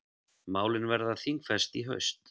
Málin verða þingfest í haust.